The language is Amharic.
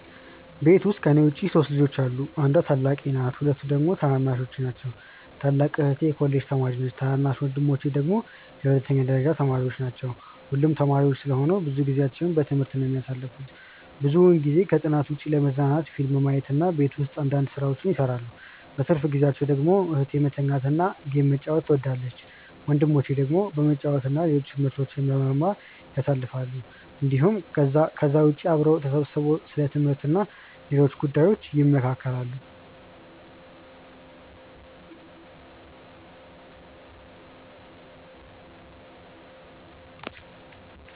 ቤት ውስጥ ከኔ ውጪ 3 ልጆች አሉ። አንዷ ታላቄ ናት ሁለቱ ደግሞ ታናናሾቼ ናቸው። ታላቅ እህቴ የኮሌጅ ተማሪ ነች ታናናሽ ወንድሞቼ ደግሞ የሁለተኛ ደረጃ ተማሪዎች ናቸው። ሁሉም ተማሪዎች ስለሆኑ ብዙ ጊዜአቸውን በትምህርት ነው የሚያሳልፉት። ብዙውን ጊዜ ከጥናት ውጪ ለመዝናናት ፊልም ማየት እና ቤት ውስጥ አንዳንድ ስራዎችን ይሰራሉ። በትርፍ ጊዜአቸው ደግሞ እህቴ መተኛት እና ጌም መጫወት ትወዳለች። ወንድሞቼ ደግሞ በመጫወት እና ሌሎች ትምህርቶችን በመማር ያሳልፋሉ እንዲሁም ከዛ ውጪ አብረው ተሰብስበው ስለ ትምህርት እና ሌሎች ጉዳዮች ይመካከራሉ።